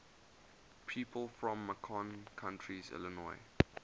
people from macon county illinois